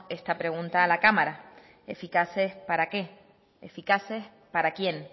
esta pregunta a la cámara eficaces para qué eficaces para quién